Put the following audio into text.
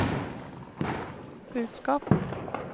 budskap